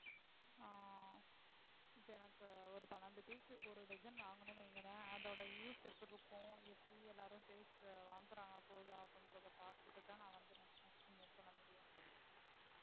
ஆஹ் இப்ப எனக்கு ஒரு பனிரெண்டு piece ஒரு dozen வாங்கினேன் வைங்களேன் அதோட use எப்படி இருக்கும், எப்படி எல்லாரும் sales வங்காரங்கள்னு போவுதான்னு பாத்திட்டு தான் நான் next next move பண்ண முடியும்.